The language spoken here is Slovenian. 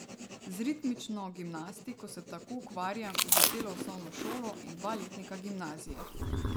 Z ritmično gimnastiko se tako ukvarjam že celo osnovno šolo in dva letnika gimnazije.